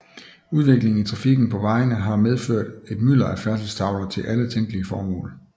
Udviklingen i trafikken på vejene har medført et mylder af færdselstavler til alle tænkelige formål